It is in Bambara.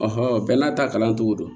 bɛɛ n'a ta kalan cogo don